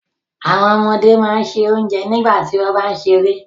Àwọn ọmọdé máà n ṣẹ ọ̀njẹ nígbàtí wọn bá n sẹ̀rẹ̀.